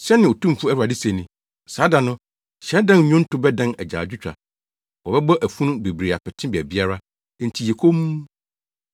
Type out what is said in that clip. Sɛnea Otumfo Awurade se ni, “Saa da no, hyiadan nnwonto bɛdan agyaadwotwa. Wɔbɛbɔ afunu bebree apete baabiara! Enti yɛ komm!”